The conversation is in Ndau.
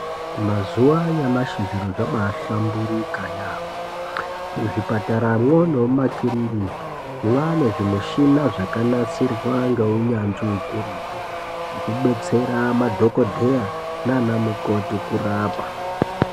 Mazuva anyamashi zviro zvabahlamburika yaamho muzvipataramwo, nemumakiriniki, mwane zvimichina zvakanasirwa ngeunyanzvi hukurutu, zvekubetsera madhokodheya nana mukoti kurapa.